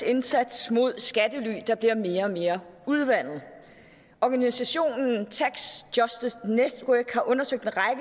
indsats mod skattely der bliver mere og mere udvandet organisationen tax justice network har undersøgt en